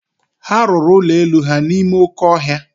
Ha rụrụ ụlọ elu ha n'ime oké ọhịa.